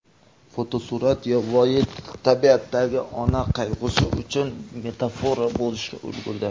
Fotosurat yovvoyi tabiatdagi ona qayg‘usi uchun metafora bo‘lishga ulgurdi.